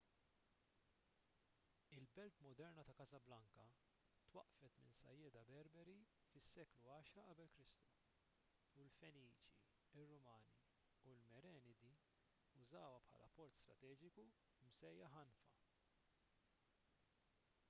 il-belt moderna ta' casablanca twaqqfet minn sajjieda berberi fis-seklu 10 q.e.k. u l-feniċi ir-rumani u l-merenidi użawha bħala port strateġiku msejjaħ anfa